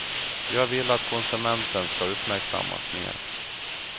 Jag vill att konsumenten ska uppmärksammas mer.